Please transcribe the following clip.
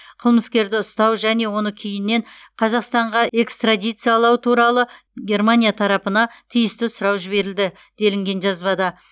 қылмыскерді ұстау және оны кейіннен қазақстанға экстрадициялау туралы германия тарапына тиісті сұрау жіберілді делінген жазбада